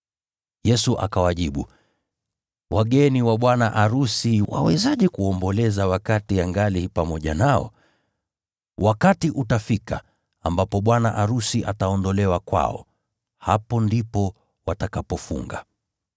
Yesu akawajibu, “Wageni wa bwana arusi wawezaje kuomboleza wakati angali pamoja nao? Wakati utafika ambapo bwana arusi ataondolewa kwao. Hapo ndipo watakapofunga.